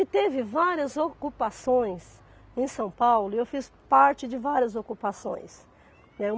E teve várias ocupações em São Paulo e eu fiz parte de várias ocupações, né.